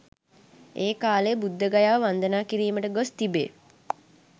ඒ කාලයේ බුද්ධගයාව වන්දනා කිරීමට ගොස් තිබේ.